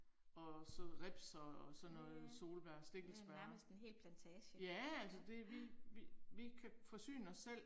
Og så ribs og og sådan noget, solbær, stikkelsbær. Ja altså det vi vi vi kan forsyne os selv